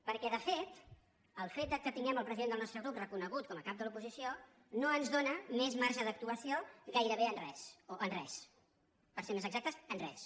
perquè de fet el fet que tinguem el president del nostre grup reconegut com a cap de l’oposició no ens dóna més marge d’actuació gairebé en res o en res per ser més exactes en res